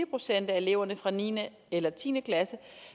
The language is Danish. procent af eleverne fra niende eller tiende klasse